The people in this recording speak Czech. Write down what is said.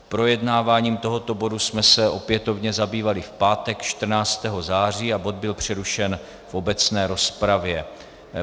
Projednáváním tohoto bodu jsme se opětovně zabývali v pátek 14. září a bod byl přerušen v obecné rozpravě.